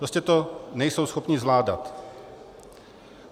Prostě to nejsou schopni zvládat.